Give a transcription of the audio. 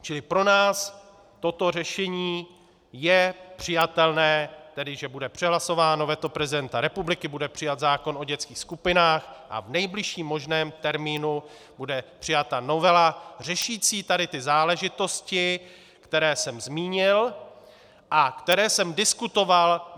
Čili pro nás toto řešení je přijatelné, tedy že bude přehlasováno veto prezidenta republiky, bude přijat zákon o dětských skupinách a v nejbližším možném termínu bude přijata novela řešící tady ty záležitosti, které jsem zmínil a které jsem diskutoval.